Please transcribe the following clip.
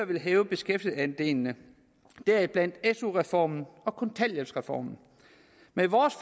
vil hæve beskæftigelsesandelene deriblandt su reformen og kontanthjælpsreformen med vores